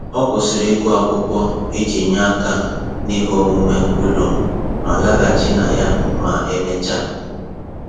Ọ kwụsịrị ịgụ akwụkwọ iji nye aka n'ihe omume ụlọ ma laghachi na ya ma emechaa